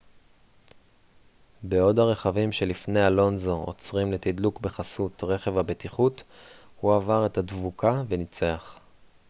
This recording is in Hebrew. בעוד הרכבים שלפני אלונזו עוצרים לתדלוק בחסות רכב הבטיחות הוא עבר את הדבוקה וניצח